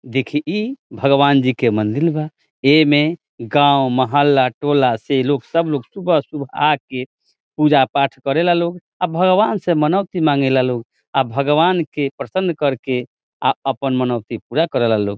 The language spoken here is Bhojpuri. देखीं ई भगवान जी के मंदिर बा। इमें गांव मोहल्ला टोला से सब लोग सुबह-सुबह आके पूजा-पाठ करेला लोग आ भगवान से मनौती माँगे ला लोग आ भगवान के प्रसन्न करके अपन मनौती पूरा करेला लोग।